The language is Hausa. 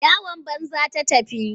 Yawan banza ta tafi.